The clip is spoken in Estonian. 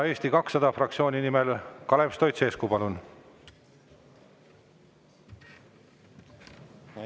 Eesti 200 fraktsiooni nimel Kalev Stoicescu, palun!